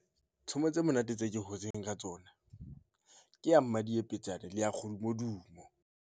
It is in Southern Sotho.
Tshomo tse monate tse ke hotseng ka tsona ke ya madiepetetsane le ya kgodumodumo.